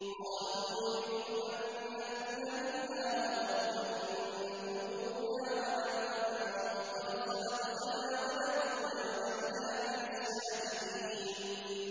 قَالُوا نُرِيدُ أَن نَّأْكُلَ مِنْهَا وَتَطْمَئِنَّ قُلُوبُنَا وَنَعْلَمَ أَن قَدْ صَدَقْتَنَا وَنَكُونَ عَلَيْهَا مِنَ الشَّاهِدِينَ